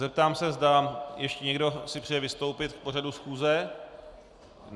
Zeptám se, zda ještě někdo si přeje vystoupit k pořadu schůze?